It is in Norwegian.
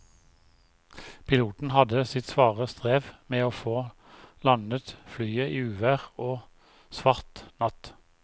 Piloten hadde sitt svare strev med å få landet flyet i uvær og svart natt.